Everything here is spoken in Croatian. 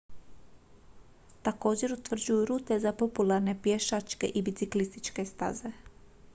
također utvrđuju rute za popularne pješačke i biciklističke staze